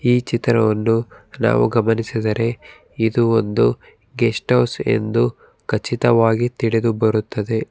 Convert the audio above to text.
ಈ ಚಿತ್ರವನ್ನು ನಾವು ಗಮನಿಸಿದರೆ ಇದು ಒಂದು ಗೆಸ್ಟ್ ಹೌಸ್ ಎಂದು ಖಚಿತವಾಗಿ ತಿಳಿದು ಬರುತ್ತದೆ.